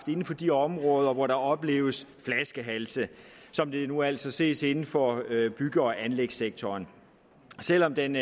inden for de områder hvor der opleves flaskehalse som det nu altså ses inden for bygge og anlægssektoren selv om den